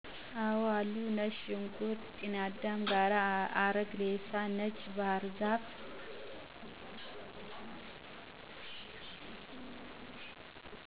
አወአሉ። ነጭ ሽንኩርት ከጤናዳም ጋር፣ አረግ ሬሳ፣ ነጭ ባሕር ዛፍ